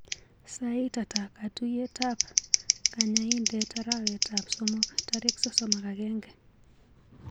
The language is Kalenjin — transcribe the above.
Sait ata katuiyetab kanyaindet arawetap somok tarik sosom ak agenge.